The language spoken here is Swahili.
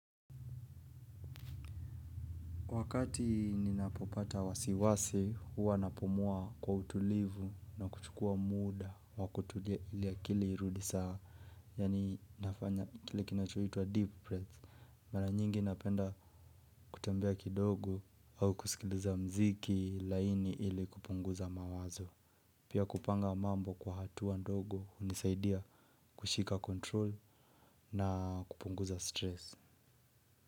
Wakati ninapopata wasiwasi huwa napumua kwa utulivu na kuchukua muda wa kutulia iliakili irudi sawa. Yaani nafanya kile kinachoitwa deep breath. Mara nyingi napenda kutembea kidogo au kusikiliza muziki laini ili kupunguza mawazo. Pia kupanga mambo kwa hatua ndogo hunisaidia kushika control na kupunguza stress.